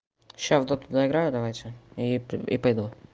сейчас в доту доиграю давайте и при и пойду